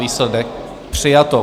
Výsledek: přijato.